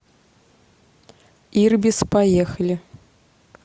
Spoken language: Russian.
ирбис поехали